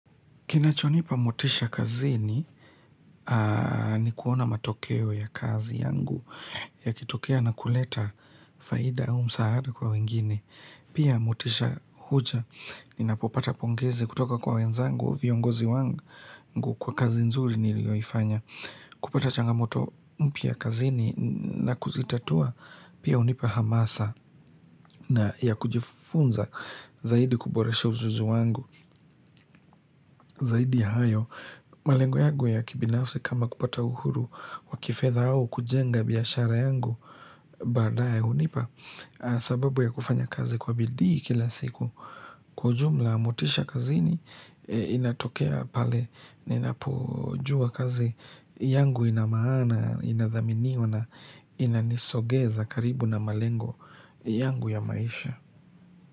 Kinachonipa motisha kazini ni kuona matokeo ya kazi yangu yakitokea na kuleta faida au msaada kwa wengine. Pia motisha huja ninapopata pongezi kutoka kwa wenzangu viongozi wangu kwa kazi nzuri nilioifanya. Kupata changamoto mpya kazini na kuzitatua pia unipa hamasa na ya kujifunza zaidi kuboresha uzuzu wangu zaidi ya hayo. Malengo yagu ya kibinafsi kama kupata uhuru wa kifedha au kujenga biashara yangu baadae hunipa sababu ya kufanya kazi kwa bidii kila siku kwa ujumla motisha kazini inatokea pale ninapojua kazi yangu ina maana inathaminiwa na inanisogeza karibu na malengo yangu ya maisha.